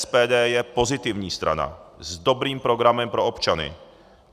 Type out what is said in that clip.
SPD je pozitivní strana, s dobrým programem pro občany.